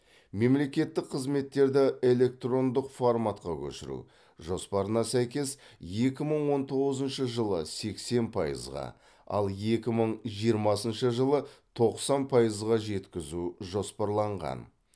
мемлекеттік қызметтерді электрондық форматқа көшіру жоспарына сәйкес екі мың он тоғызыншы жылы сексен пайызға ал екі мың жиырмасыншы жылы тоқсан пайызға жеткізу жоспарланған